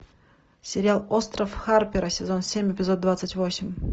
сериал остров харпера сезон семь эпизод двадцать восемь